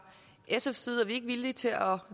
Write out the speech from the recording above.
sfs side er vi ikke villige til at